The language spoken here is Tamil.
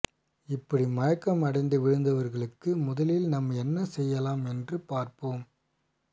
இப்படி மயக்கம் அடைந்து விழுந்தவர்களுக்கு முதலில் நாம் என்ன செய்யலாம் என்று பார்ப்போம்